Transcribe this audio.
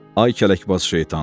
Ay kələkbaz şeytan.